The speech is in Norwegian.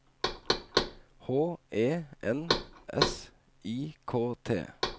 H E N S I K T